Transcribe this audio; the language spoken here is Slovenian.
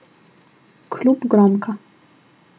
Klub Gromka.